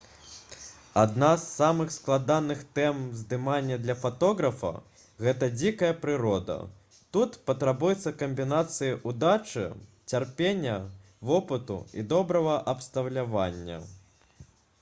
адна з самых складаных тэм здымання для фатографа гэта дзікая прырода тут патрабуецца камбінацыя ўдачы цярпення вопыту і добрага абсталявання